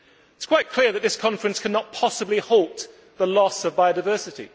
It is quite clear that this conference cannot possibly halt the loss of biodiversity